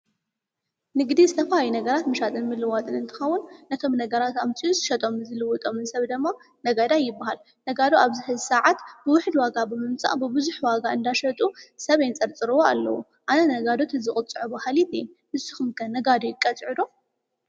ንግዲ ዝተፋላለዩ ነገራት ምሻጥን ምልዋጥን እንተኻውን ነቶም ነገራት ኣምፂኡ ዝሸጦም ዝልውጦምን ሰብ ደማ ነጋዳይ ይበሃል። ነጋዶ ኣብዚ ሕዚ ሰዓት ብውሕድ ዋጋ ብምምጻእ ብብዙሕ ዋጋ እንዳሸጡ ሰብ የንጸርጽርዎ ኣለዉ። ኣነ ነጋዶ እንተዝቕፅዑ በሃሊት እየ። ንስኹም ከ ነጋዶ ይቀጽዑ ዶ?